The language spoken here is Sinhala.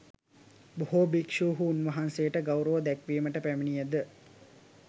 බොහෝ භික්ෂුහු උන්වහන්සේට ගෞරව දැක්වීමට පැමිණියද